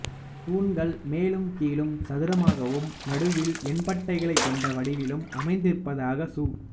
தூண்கள் மேலும் கீழும் சதுரமாகவும் நடுவில் எண்பட்டைகளைக் கொண்ட வடிவிலும் அமைந்திருப்பதாக சு